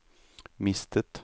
mistet